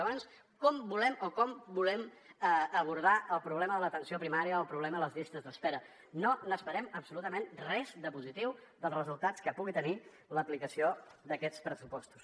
llavors com volem abordar el problema de l’atenció primària el problema de les llistes d’espera no esperem absolutament res de positiu dels resultats que puguin tenir l’aplicació d’aquests pressupostos